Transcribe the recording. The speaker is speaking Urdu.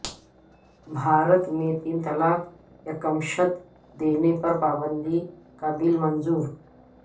بھارت میں تین طلاق یکمشت دینے پرپابندی کا بل منظور